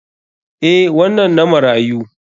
Eh, wannan na marayu.